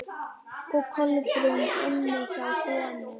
Og Kolbrún inni hjá honum.